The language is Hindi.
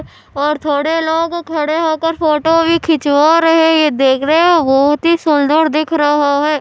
और थोड़े लोग खड़े होकर फोटो भी खिचवा रहे हो ये देख रहे है हो बहुत ही सूंदर दिख रहा है।